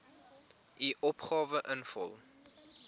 u opgawe invul